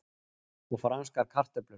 Og franskar kartöflur.